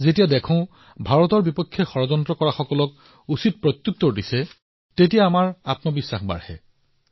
যেতিয়া আমি দেখিম যে ভাৰতে ইয়াৰ বিৰুদ্ধে ষড়যন্ত্ৰ কৰা সকলক উপযুক্ত প্ৰত্যুত্তৰ দিয়ে তেতিয়া আমাৰ আত্মবিশ্বাস অধিক বৃদ্ধি পায়